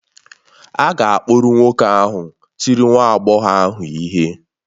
A ga-akpụrụ nwoke ahụ tiri nwa agbọghọ ahụ ihe.